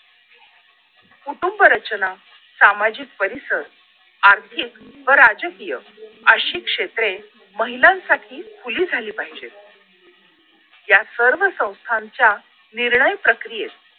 कुटुंब रचना सामाजिक परिसर आर्थिक व राजकीय अशी क्षेत्रे महिलांसाठी खुली झाली पाहिजेत या सर्व संस्थांच्या निर्णय प्रक्रियेत